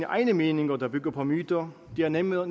egne meninger der bygger på myter det er nemmere